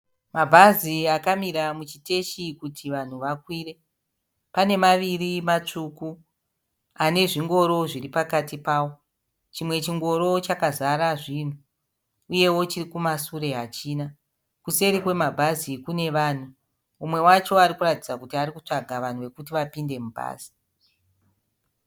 Mabhazi akamira muchiteshi kuti vanhu vakwire. Pane maviri matsvuku, pane zvingoro zviri pakati pavo. Chimwe chingoro chakazara zvinhu uyewo chiri kumasure hachina. Kuseri kwemabhazi kune vanhu. Mumwe wacho arikuratidza kuti arikutsvaga vanhu vekuti vapinde mubhazi.